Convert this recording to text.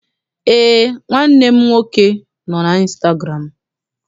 Eé, nwanne m nwoke nọ n'ịnstagụramụ.